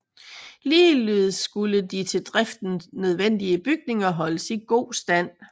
Ligeledes skulle de til driften nødvendige bygninger holdes i god stand